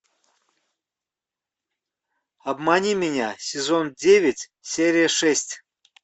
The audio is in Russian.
обмани меня сезон девять серия шесть